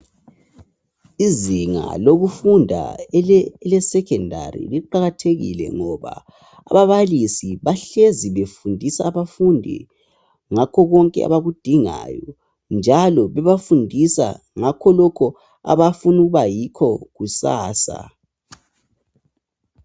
Izinga lokufunda eleSecondary liqakathekile ngoba ababalisi bahlezi befundisa abafundi ngakho konke abakudingayo njalo bebafundisa ngakho lokhu abafuna ukuba yikho kusasa.